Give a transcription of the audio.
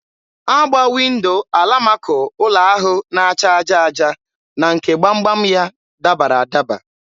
Agba Windo alamako ụlọ ahụ na-acha aja aja na nke gbam gbam ya dabara adaba.